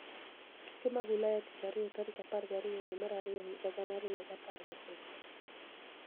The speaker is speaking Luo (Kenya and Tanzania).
Tuke mag Ulaya Tich Ariyo tarik apar gariyo dwe mar ariyo higa gana ariyo giapar gochiko